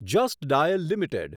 just Dial limited